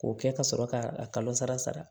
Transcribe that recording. K'o kɛ ka sɔrɔ ka a kalo sara sara